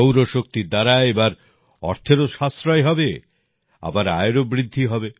সৌর শক্তির দ্বারা এবার অর্থেরও সাশ্রয় হবে আবার আয়েরও বৃদ্ধি হবে